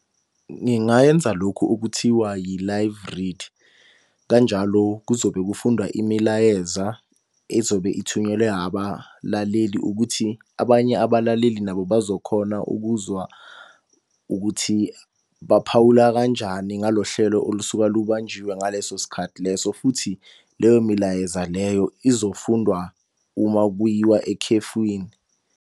Ngingayenza lokhu okuthiwa yi-Live Read. Kanjalo kuzobe kufundwa imilayeza ezobe ithunyelwe abalaleli ukuthi abanye abalaleli nabo bazokhona ukuzwa ukuthi baphawula kanjani nga lo hlelo olusuka lubanjiwe ngaleso sikhathi leso futhi, leyo milayeza leyo izofundwa uma kuyiwa ekhefwini.